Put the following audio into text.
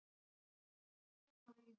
Hvar gera hunangsflugur oftast búin?